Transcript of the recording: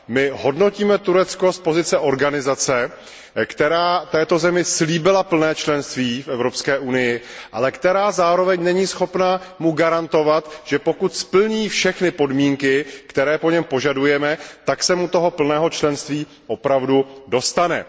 My hodnotíme Turecko z pozice organizace, která této zemi slíbila plné členství v Evropské unii, ale která zároveň není schopna mu garantovat, že pokud splní všechny podmínky, které po něm požadujeme, tak se mu toho plného členství opravdu dostane.